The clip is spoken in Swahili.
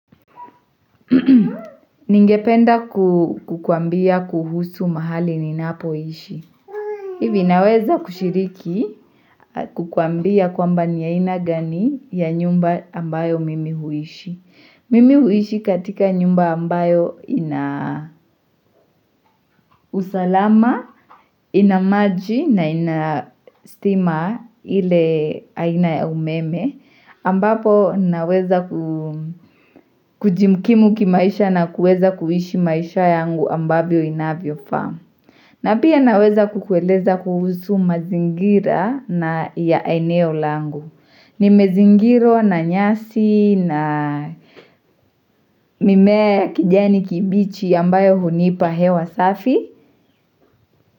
Ningependa kukuambia kuhusu mahali ninapoishi hivi naweza kushiriki kukuambia kwamba ni aina gani ya nyumba ambayo mimi huishi mimi huishi katika nyumba ambayo usalama, ina maji na ina stima ile aina ya umeme ambapo naweza kujihikimu kimaisha na kuweza kuishi maisha yangu ambayvo inavyofaa na pia naweza kukueleza kuhusu mazingira ya eneo langu nimezingirwa na nyasi na mimea ya kijani kibichi ambayo hunipa hewa safi.